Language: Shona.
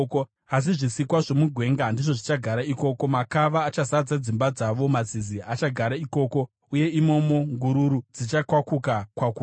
Asi zvisikwa zvomugwenga ndizvo zvichagara ikoko, makava achazadza dzimba dzavo; mazizi achagara ikoko, uye imomo ngururu dzichakwakuka-kwakuka.